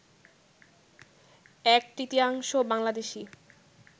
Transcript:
এক তৃতীয়াংশ বাংলাদেশি